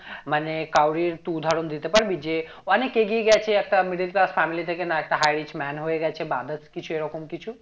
মানে কারুরই তুই উদাহরণ দিতে পারবি যে অনেক এগিয়ে গেছে একটা middle class family থেকে না একটা high rich man হয়ে গেছে বা others কিছু এরকম কিছু